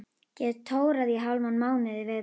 Get tórað í hálfan mánuð í viðbót.